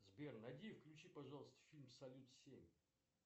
сбер найди и включи пожалуйста фильм салют семь